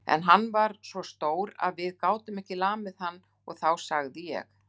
En hann er svo stór að við gátum ekki lamið hann og þá sagði ég